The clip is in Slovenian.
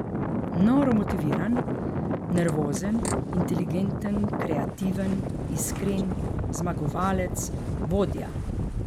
Noro motiviran, nervozen, inteligenten, kreativen, iskren, zmagovalec, vodja ...